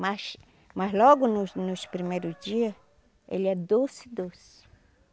Mas mas logo nos nos primeiro dia, ele é doce, doce.